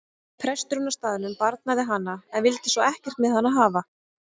Presturinn á staðnum barnaði hana en vildi svo ekkert með hana hafa.